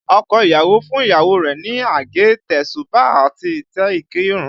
Ọkọ ìyàwó fún ìyàwó rẹ̀ ní àgé, tesuba àti ìtẹ́ ìkírun